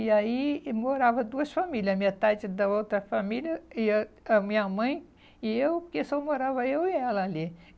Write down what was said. E aí e morava duas famílias, metade da outra família e a a minha mãe e eu, que só morava eu e ela ali.